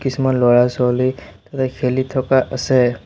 কিছুমান ল'ৰা ছোৱালী তাতে খেলি থকা আছে।